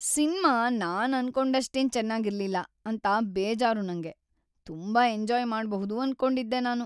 Cinema ನಾನ್‌ ಅನ್ಕೊಂಡಷ್ಟೇನು ಚೆನ್ನಾಗಿರ್ಲಿಲ್ಲ ಅಂತ ಬೇಜಾರು ನಂಗೆ. ತುಂಬಾ ಎಂಜಾಯ್‌ ಮಾಡ್ಬಹುದು ಅನ್ಕೊಂಡಿದ್ದೆ ನಾನು.